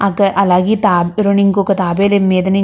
అక్క అలాగే తాబే ఇంకొక తాబేలు మీద ని --